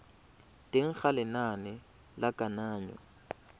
teng ga lenane la kananyo